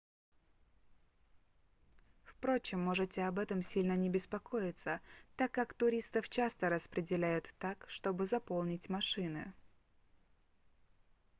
впрочем можете об этом сильно не беспокоиться так как туристов часто распределяют так чтобы заполнить машины